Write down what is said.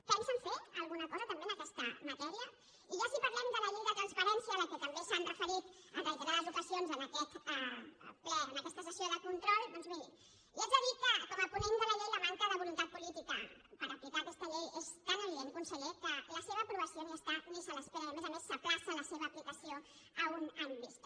pensen fer alguna cosa també en aquesta matèria i ja si parlem de la llei de transparència a què també s’han referit en reiterades ocasions en aquest ple en aquesta sessió de control doncs miri li haig de dir que com a ponent de la llei la manca de voluntat política per aplicar aquesta llei és tan evident conseller que la seva aprovació ni hi és ni se l’espera i a més a més s’ajorna la seva aplicació a un any vista